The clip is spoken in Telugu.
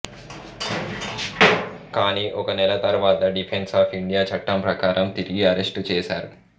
కాని ఒక నెల తరువాత డిఫెన్స్ ఆఫ్ ఇండియా చట్టం ప్రకారం తిరిగి అరెస్టు చేసారు